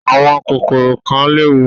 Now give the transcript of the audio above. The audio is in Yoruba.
Àwọn kòkòrò kan léwu.